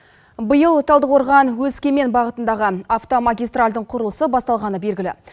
биыл талдықорған өскемен бағытындағы автомагистральдің құрылысы басталғаны белгілі